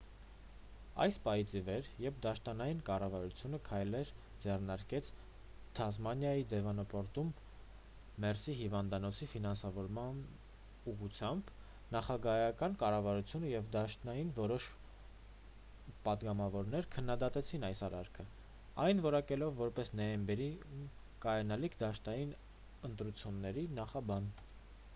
այն պահից ի վեր երբ դաշնային կառավարությունը քայլեր ձեռնարկեց թասմանիայի դեվոնպորտում մերսի հիվանդանոցի ֆինանսավորման ուղղությամբ նահանգային կառավարությունը և դաշնային որոշ պատգամավորներ քննադատեցին այս արարքը այն որակելով որպես նոյեմբերին կայանալիք դաշնային ընտրությունների նախաբան